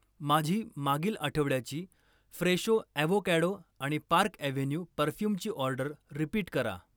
माझी मागील आठवड्याची फ्रेशो ॲव्होकॅडो आणि पार्क अॅव्हेन्यू परफ्यूमची ऑर्डर रिपीट करा.